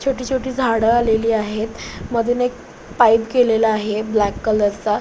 छोटी छोटी झाड आलेली आहेत मधून एक पाइप गेलेला आहे ब्लॅक कलरचा .